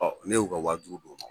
Ɔ ne y'u ka wa duuru d'u mɔ